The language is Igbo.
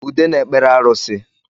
Ude na-ekpere arusi